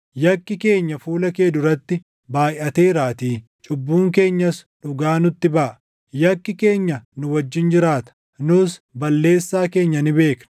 Yakki keenya fuula kee duratti baayʼateeraatii; cubbuun keenyas dhugaa nutti baʼa. Yakki keenya nu wajjin jiraata; nus balleessaa keenya ni beekna;